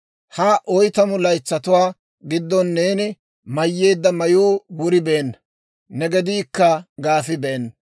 Ha oytamu laytsatuwaa giddon neeni mayyeedda mayuu wuribeenna; ne gediikka gaafibeena.